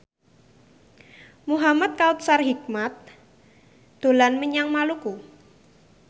Muhamad Kautsar Hikmat dolan menyang Maluku